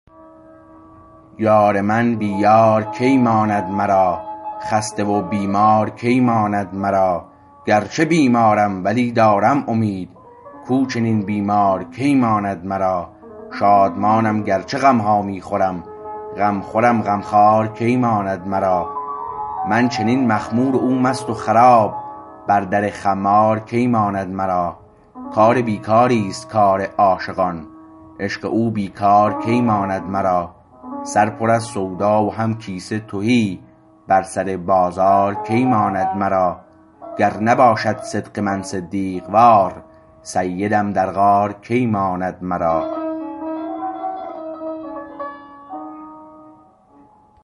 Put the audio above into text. یار من بی یار کی ماند مرا خسته و بیمار کی ماند مرا گرچه بیمارم ولی دارم امید کو چنین بیمار کی ماند مرا شادمانم گرچه غمها می خورم غمخورم غمخوار کی ماند مرا من چنین مخمور و او مست و خراب بر در خمار کی ماند مرا کار بیکاریست کار عاشقان عشق او بیکار کی ماند مرا سر پر از سودا و هم کیسه تهی بر سر بازار کی ماند مرا گر نباشد صدق من صدیق وار سیدم در غار کی ماند مرا